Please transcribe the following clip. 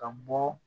Ka bɔ